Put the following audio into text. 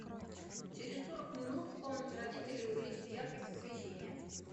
через сорок минут в комнате родителей увеличить яркость освещения